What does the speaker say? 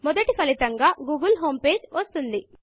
మొదటి ఫలితంగా గూగిల్ homepageగూగుల్ హోం పేజీ వస్తుంది